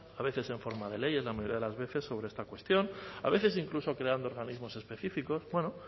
a veces en forma de leyes la mayoría de las veces sobre esta cuestión a veces incluso creando organismos específicos bueno